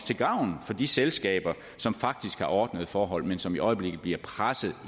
til gavn for de selskaber som faktisk har ordnede forhold men som i øjeblikket bliver presset